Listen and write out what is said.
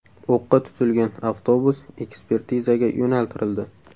O‘qqa tutilgan avtobus ekspertizaga yo‘naltirildi.